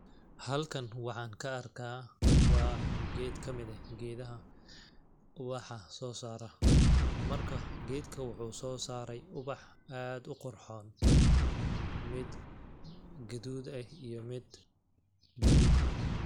Halkan waxaan ka arkaa waa geed kamid eh geedaha ubaxa soo saara ,marka geedkan waxuu soo saray ubax aad u qurxoon ,mid gaduud eh iyo mid baluug ah .